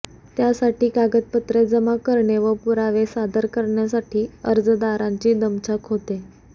त्यासाठी कागदपत्रे जमा करणे व पुरावे सादर करण्यासाठी अर्जदारांची दमछाक होते